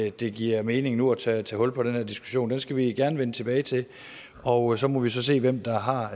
ikke det giver mening nu at tage hul på den her diskussion den skal vi gerne vende tilbage til og så må vi se hvem der har